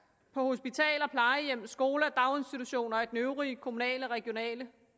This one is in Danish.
på hospitaler plejehjem skoler daginstitutioner og den øvrige kommunale og regionale